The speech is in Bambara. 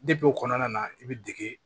o kɔnɔna na i bɛ dege